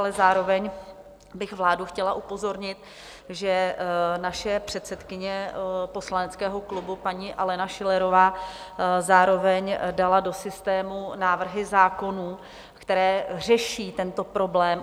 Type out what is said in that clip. Ale zároveň bych vládu chtěla upozornit, že naše předsedkyně poslaneckého klubu paní Alena Schillerová zároveň dala do systému návrhy zákonů, které řeší tento problém.